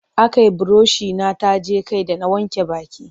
Akai burushi na taje kai da na wanke baki.